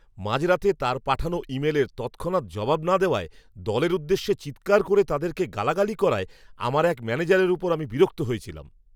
মাঝরাতে তার পাঠানো ইমেলের তৎক্ষণাৎ জবাব না দেওয়ায় দলের উদ্দেশ্যে চিৎকার করে তাদেরকে গালাগালি করায় আমার এক ম্যানেজারের ওপর আমি বিরক্ত হয়েছিলাম।